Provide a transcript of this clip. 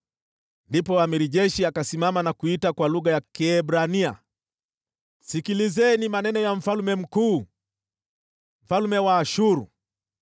Kisha yule jemadari wa jeshi akasimama na kuita kwa lugha ya Kiebrania, akasema: “Sikieni maneno ya mfalme mkuu, mfalme wa Ashuru!